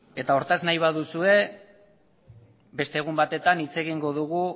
eta hortaz nahi baduzue beste egun batean hitz egingo dugu